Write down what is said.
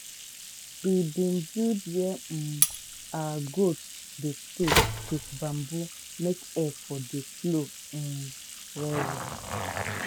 we bin build where um out goat dey stay wit bamboo make air for dey flow um well well.